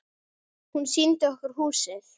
Hún sýndi okkur húsið.